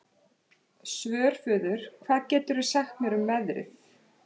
Svörfuður, hvað geturðu sagt mér um veðrið?